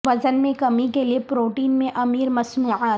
وزن میں کمی کے لئے پروٹین میں امیر مصنوعات